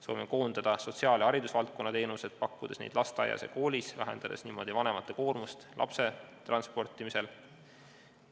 Soovime koondada sotsiaal- ja haridusvaldkonna teenused, pakkudes neid lasteaias ja koolis, vähendades niimoodi vanemate koormust lapse transportimisel.